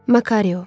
Makario.